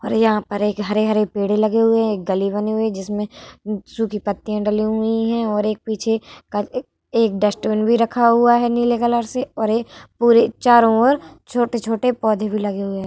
और यहाँ पर एक हरे-हरे पेड़ लगे हुए हैं। एक गली बनी हुई है जिसमें सुखी पत्तियां डली हुई है और एक पीछे का एक डस्टबिन भी रखा हुआ है नीले कलर से और ये पूरे चारो ओर छोटे-छोटे पौधे भी लगे हुए हैं।